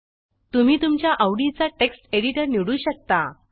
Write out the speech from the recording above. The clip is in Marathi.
तुम्ही तुमच्या आवडीचा टेक्स्ट एडिटर निवडू शकता